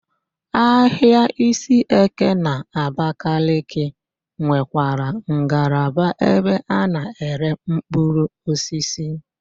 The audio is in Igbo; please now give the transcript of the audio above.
Ahịa Isieke n'Abakaliki nwekwara ngalaba ebe a na-ere mkpụrụosisi.